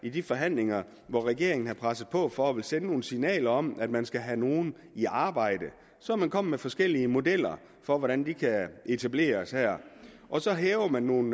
i de forhandlinger hvor regeringen har presset på for at ville sende nogle signaler om at man skal have nogle i arbejde så er man kommet med forskellige modeller for hvordan de kan etableres her og så hæver man nogle